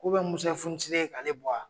Musa fɔnisere ye k'ale bɔw?